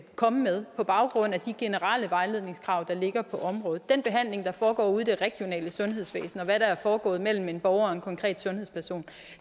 komme med på baggrund af de generelle vejledningskrav der ligger på området den behandling der foregår ude i det regionale sundhedsvæsen og hvad der er foregået mellem en borger og en konkret sundhedsperson